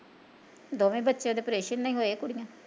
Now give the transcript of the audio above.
ਦੋਵੇ ਬੱਚੇ ਉਹਦੇ ਪ੍ਰੇਸ਼ਨ ਨਾਲ਼ ਹੀਂ ਹੋਏ ਕੁੜੀਆ